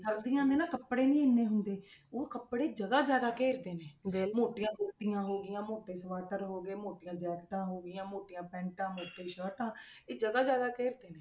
ਸਰਦੀਆਂ ਦੇ ਨਾ ਕੱਪੜੇ ਨੀ ਇੰਨੇ ਹੁੰਦੇ ਉਹ ਕੱਪੜੇ ਜਗ੍ਹਾ ਜ਼ਿਆਦਾ ਘੇਰਦੇ ਨੇ ਵੀ ਮੋਟੀਆਂ ਕੋਟੀਆਂ ਹੋ ਗਈਆਂ ਮੋਟੇ ਸਵਾਟਰ ਹੋ ਗਏ ਮੋਟੀਆਂ ਜੈਕਟਾਂ ਹੋ ਗਈਆਂ ਮੋਟੀਆਂ ਪੈਂਟਾ ਮੋਟੀ ਸਰਟਾਂ ਇਹ ਜਗ੍ਹਾ ਜ਼ਿਆਦਾ ਘੇਰਦੇ ਨੇ।